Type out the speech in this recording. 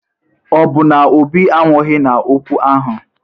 Ọ bụ na Obi anwụghi n'okwu ahụ?